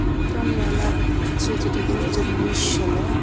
একটা মেলা হচ্ছে যেটা দু হাজার উনিশ সালের ।